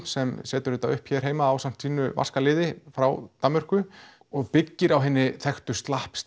sem setur þetta upp hérna heima ásamt sínu vaska liði frá Danmörku og byggir á hinni þekktu